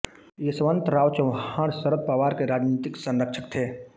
यशवंतराव चव्हाण शरद पवार के राजनीतिक संरक्षक थे